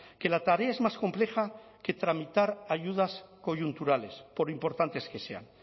que la tarea es más compleja que tramitar ayudas coyunturales por importantes que sean